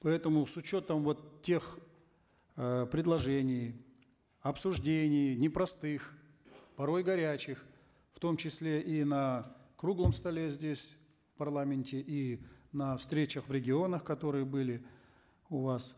поэтому с учетом вот тех э предложений обсуждений непростых порой горячих в том числе и на круглом столе здесь в парламенте и на встречах в регионах которые были у вас